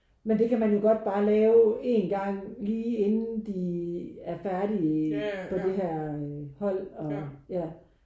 Men det kan man jo godt bare lave én gang lige inden de er færdige på det her hold og ja